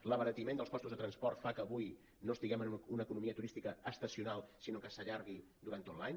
l’abaratiment dels costos de transport fa que avui no estiguem en una economia turística estacional sinó que s’allargui durant tot l’any